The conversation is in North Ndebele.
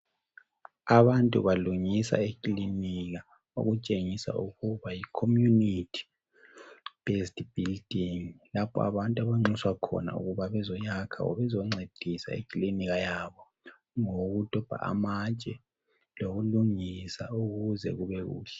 Abantu balungisa ikilinika okutshengisa ukuba yiCommunity Based Building lapha abantu abanxuswa khona ukuba bezoyakha obezoncedisa ikilinika yabo ngokudobha amatshe lokulungisa ukuba kubekuhle.